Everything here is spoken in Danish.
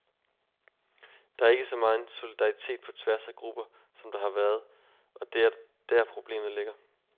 Der er ikke så megen solidaritet på tværs af grupper som der har været, og det er der problemet ligger.